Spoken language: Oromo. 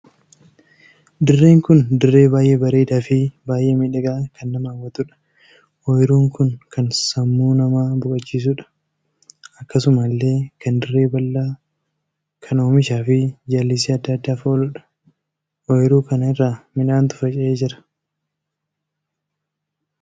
Dirreen kun dirree baay'ee bareedaa fi baay'ee miidhagaa kan nama hawwatuudha. ooyiruun kun kan sammuu namaa boqochiisuudha. akkasumallee kan dirree bal'aa kan oomishaa fi jallisii addaa addaaf ooluudha. ooyiruu kana irra midhaantu facaa'ee jira.